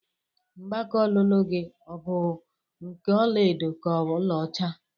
Mgbaka ọlụlụ gị ọ bụ nke ọla edo ka ọla ọcha?